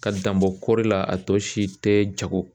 Ka danbɔ kɔri la a tɔ si tɛ jago.